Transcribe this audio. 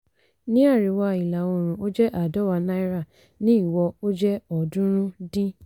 ní àríwá ìlà oòrùn ó jẹ́ àádọ́wàá náírà ní ìwọ ó jẹ́ ọ̀ọ́dúnrún dín.